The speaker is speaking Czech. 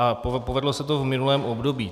A povedlo se to v minulém období.